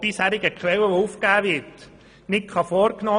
Auch diese Massnahme wird uns massiv Geld kosten.